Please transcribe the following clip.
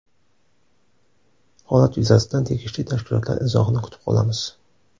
Holat yuzasidan tegishli tashkilotlar izohini kutib qolamiz.